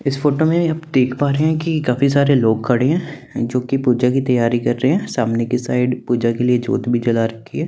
इस फोटो में आप देख पा रहे हैं कि काफी सारे लोग खड़े हैं जोकि पूजा की तैयारी कर रहे हैं सामने की साइड पूजा की ज्योत भी जला रखी है।